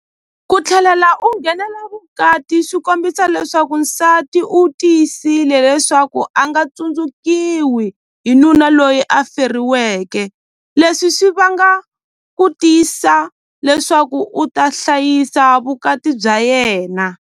Ku tlhelala u nghenela vukati swi kombisa leswaku nsati u tiyisile leswaku a nga tsundzukiwi hi nuna loyi a feriweke leswi swi vanga ku tiyisa leswaku u ta hlayisa vukati bya yena.